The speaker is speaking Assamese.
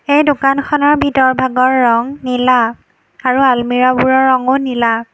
এই দোকানখনৰ ভিতৰভাগৰ ৰং নীলা আৰু আলমিৰাবোৰৰ ৰঙো নীলা।